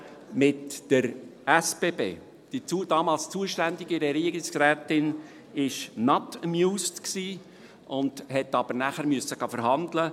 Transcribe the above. Die damals zuständige Regierungsrätin war «not amused», musste aber nachher verhandeln.